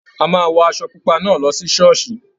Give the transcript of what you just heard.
A máa wọ aṣọ pupa náà lọ sí ṣọ́ọ̀ṣì.